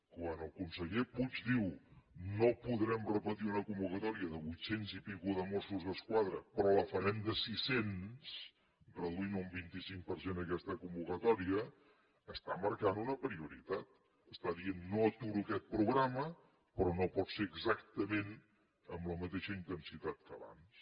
quan el conseller puig diu no podrem repetir una convocatòria de vuit cents i escaig de mossos d’esquadra però la farem de sis cents reduint un vint cinc per cent aquesta convocatòria està marcant una prioritat està dient no aturo aquest programa però no pot ser exactament amb la mateixa intensitat que abans